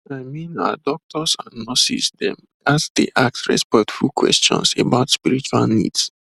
i mean ah doctors and nurses dem ghats dey ask respectful questions about spiritual needs